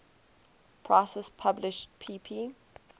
prices published pp